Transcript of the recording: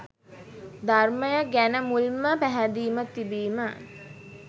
ධර්මය ගැන මුල් ම පැහැදීම තිබීම